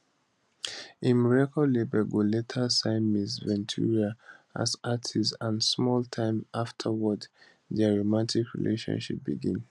im record label go later sign ms ventura as artist and small time afterwards dia romantic relationship begin